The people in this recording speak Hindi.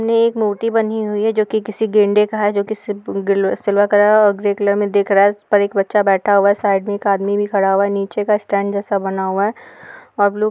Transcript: ने एक मूर्ति बनी हुई जो किसी गेंडे का है जो कि सिप गिल सिल्वर कलर और ग्रे कलर में दिख रहा है। ऊपर एक बच्चा बैठा हुआ है। साइड में एक आदमी भी खड़ा हुआ है। नीचे का स्टैन्ड जेैसा बना हुआ है। और ब्लू --